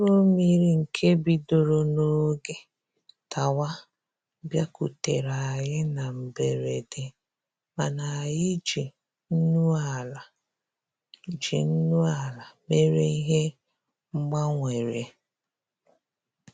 Mkpụrụ mmiri nke bidoro n'oge dawa bịakutere anyị na mberede, mana anyị ji nnu ala ji nnu ala mere ihe mgbanwere